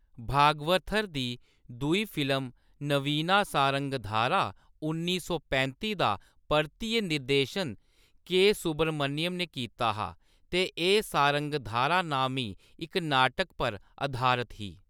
भागवथर दी दूई फिल्म नवीना सारंगधारा उन्नी सौ पैंती दा परतियै निर्देशन के. सुब्रमण्यम ने कीता हा ते एह्‌‌ सारंगधारा नामी इक नाटक पर अधारत ही।